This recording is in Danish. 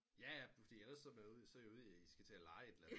Jaja fordi eller er i jo ude i i skal til at leje et eller andet